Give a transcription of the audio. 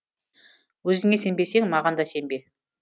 өзіңе сенбесең маған да сенбе